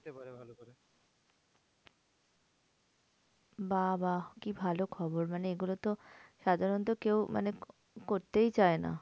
বাবাঃ কি ভালো খবর? মানে এগুলোতে সাধারণত কেউ মানে করতেই চায় না।